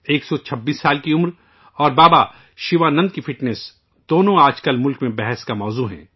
126 سال کی عمر اور بابا شیوانند جی کی فٹنس دونوں آج ملک میں بحث کا موضوع ہیں